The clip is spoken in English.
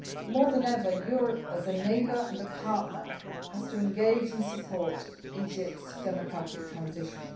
More than ever, Europe as a neighbour and a partner has to engage and support Egypt's democratic transition.